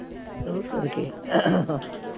ਉਹ ਸਦਕੇ